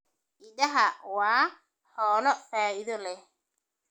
Idaha waa xoolo faa'iido leh.